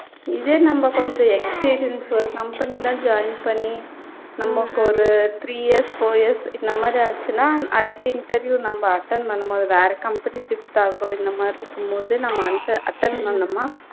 இதே நம்ப கொஞ்சம் experience ஒரு company ல join பண்ணி நமக்கு ஒரு three years, four years இந்த மாதிரி ஆச்சுன்னா அடுத்த interview நம்ப attend பண்ணும் போது வேற company shift ஆகுறோம் இந்த மாதிரி இருக்கும்போது நம்ம அந்த attend பண்ணோன்னா